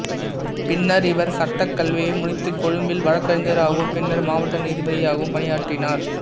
பின்னர் இவர் சட்டக் கல்வியை முடித்து கொழும்பில் வழக்கறிஞராகவும் பின்னர் மாவட்ட நீதிபதியாகவும் பணியாற்றினார்